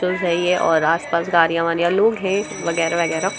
बिलकुल सही है और आस-पास गाड़िया-वाडिया लोग है वगैरा-वगैरा।